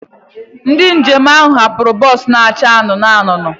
Ndị njem ahụ hapụrụ bọs na-acha anụnụ anụnụ.